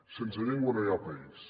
sense llengua no hi ha país